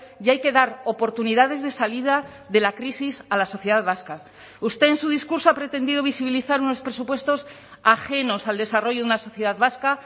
y hay que dar oportunidades de salida de la crisis a la sociedad vasca usted en su discurso ha pretendido visibilizar unos presupuestos ajenos al desarrollo de una sociedad vasca